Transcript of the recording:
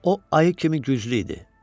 O ayı kimi güclü idi.